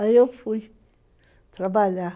Aí eu fui trabalhar.